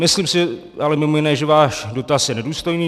Myslím si ale mimo jiné, že váš dotaz je nedůstojný.